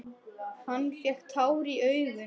Hann fékk tár í augun.